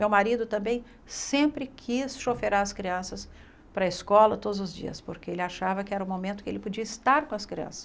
Meu marido também sempre quis as crianças para a escola todos os dias, porque ele achava que era o momento que ele podia estar com as crianças.